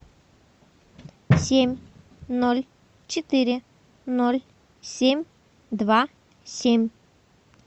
семь ноль четыре ноль семь два семь